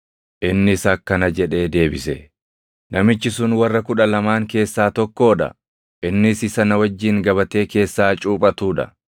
Innis akkana jedhee deebise; “Namichi sun warra kudha Lamaan keessaa tokkoo dha. Innis isa na wajjin gabatee keessaa cuuphatuu dha.